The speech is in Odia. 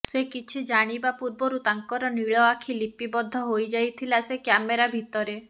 ସେ କିଛି ଜାଣିବା ପୂର୍ବରୁ ତାଙ୍କର ନୀଳ ଆଖି ଲିପିବଦ୍ଧ ହୋଇଯାଇଥିଲା ସେ କ୍ୟାମେରା ଭିତରେ